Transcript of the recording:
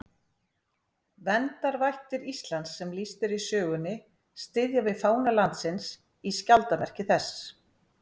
Verndarvættir Íslands sem lýst er í sögunni styðja við fána landsins í skjaldarmerki þess.